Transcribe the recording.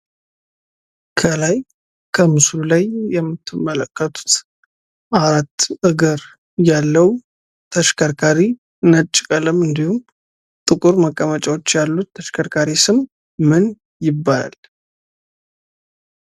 ከላይ በምስሉ ላይ የምትመለከቱት አራት እግር ያለው ተሽከርካሪ ነጭ ቀለም እንድሁም ጥቁር መቀመጫዎች ያሉት ተሽከርካሪ ስም ምን ይባላል?